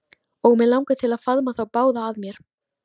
Og mig langar til að faðma þá báða að mér.